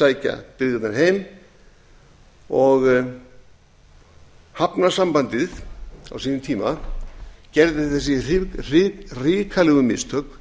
sækja byggðirnar heim og hafnasambandið á sínum tíma gerði þau hrikalegu mistök